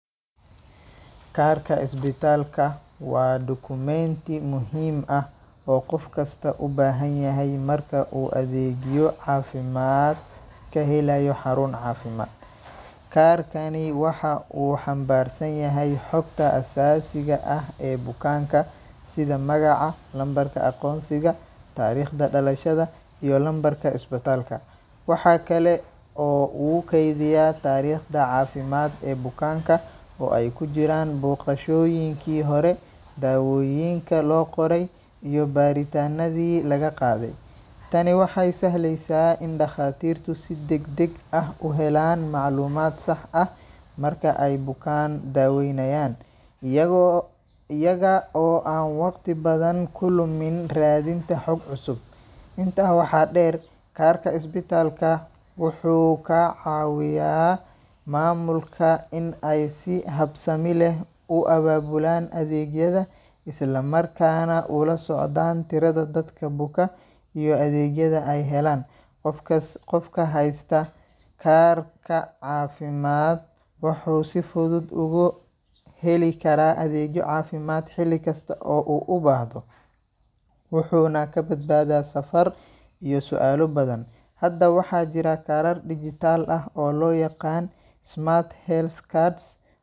Kaarka isbitaalka waa dukumeenti muhiim ah oo qof kasta u baahan yahay marka uu adeegyo caafimaad ka helayo xarun caafimaad. Kaarkani waxa uu xambaarsan yahay xogta aasaasiga ah ee bukaanka sida magaca, lambarka aqoonsiga, taariikhda dhalashada, iyo lambarka isbitaalka. Waxa kale oo uu kaydiyaa taariikhda caafimaad ee bukaanka oo ay ku jiraan booqashooyinkii hore, daawooyinka loo qoray, iyo baaritaannadii laga qaaday. Tani waxay sahlaysaa in dhakhaatiirtu si degdeg ah u helaan macluumaad sax ah marka ay bukaan daaweynayaan, iyagoo iyaga oo aan waqti badan ku lumin raadinta xog cusub. Intaa waxaa dheer, kaarka isbitaalka wuxuu ka caawiyaa maamulka in ay si habsami leh u abaabulaan adeegyada, isla markaana u la socdaan tirada dadka buka, iyo adeegyada ay helayaan. Qofkas Qofka haysta kaar caafimaad wuxuu si fudud ugu heli karaa adeegyo caafimaad xilli kasta oo uu u baahdo, wuxuuna ka badbaadaa safar iyo su’aalo badan. Hadda waxaa jira kaarar dhijitaal ah oo loo yaqaan smart health cards .